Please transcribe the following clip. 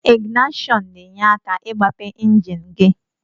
Ingnasion na enye aka igbape enjin gi.